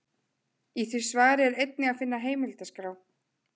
Í því svari er einnig að finna heimildaskrá.